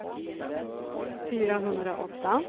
fyrahundraåtta